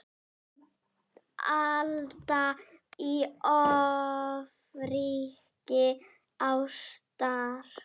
Alda í ofríki ástar.